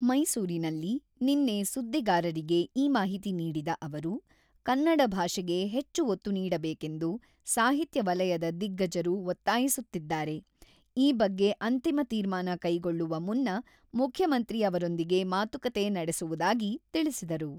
ಮೈಸೂರಿನಲ್ಲಿ ನಿನ್ನೆ ಸುದ್ದಿಗಾರರಿಗೆ ಈ ಮಾಹಿತಿ ನೀಡಿದ ಅವರು, "ಕನ್ನಡ ಭಾಷೆಗೆ ಹೆಚ್ಚು ಒತ್ತು ನೀಡಬೇಕೆಂದು ಸಾಹಿತ್ಯ ವಲಯದ ದಿಗ್ಗಜರು ಒತ್ತಾಯಿಸುತ್ತಿದ್ದಾರೆ ; ಈ ಬಗ್ಗೆ ಅಂತಿಮ ತೀರ್ಮಾನ ಕೈಗೊಳ್ಳುವ ಮುನ್ನ ಮುಖ್ಯಮಂತ್ರಿ ಅವರೊಂದಿಗೆ ಮಾತುಕತೆ ನಡೆಸುವುದಾಗಿ ತಿಳಿಸಿದರು.